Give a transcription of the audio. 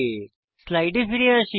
স্লাইডে ফিরে যাই